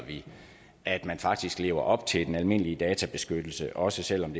at man faktisk lever op til den almindelige databeskyttelse også selv om